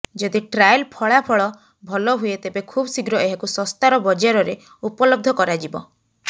ଯଦି ଟ୍ରାଏଲ ଫଳାଫଳ ଭଲ ହୁଏ ତେବେ ଖୁବଶୀଘ୍ର ଏହାକୁ ଶସ୍ତାର ବଜାରରେ ଉପଲବ୍ଧ କରାଯିବ